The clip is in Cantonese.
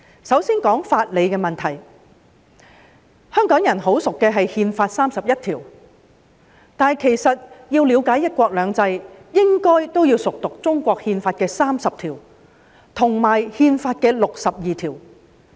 香港人十分熟悉的是《中華人民共和國憲法》第三十一條，但其實要了解"一國兩制"，也應該熟讀《憲法》第三十及六十二條。